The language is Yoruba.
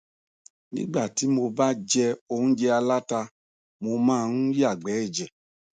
nígbà tí mo ba jẹ óúnjẹ aláta mo máa ń yàgbẹ ẹjẹ